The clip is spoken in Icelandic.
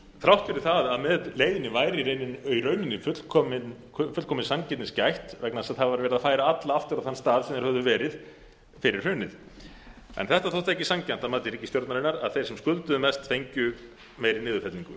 þrátt fyrir það að með leiðinni væri í rauninni fullkominnar sanngirni gætt vegna þess að það var verið að færa alla aftur á þann stað sem þeir höfðu verið fyrir hrunið en þetta þótti ekki sanngjarnt að mati ríkisstjórnarinnar að þeir sem skulduðu mest fengju meiri niðurfellingu